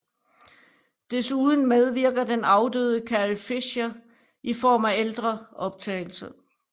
Desuden medvirker den afdøde Carrie Fisher i form af ældre optagelser